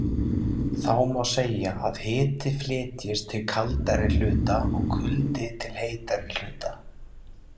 Þá má segja að hiti flytjist til kaldari hluta og kuldi til heitari hluta.